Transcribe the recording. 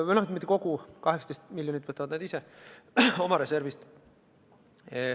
No mitte kogu raha, 18 miljonit eurot võtavad nad oma reservist.